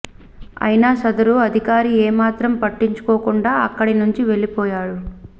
ఐనా సదరు అధికారి ఏ మాత్రం పట్టించుకోకుండా అక్కడి నుంచి వెళ్లిపోయారు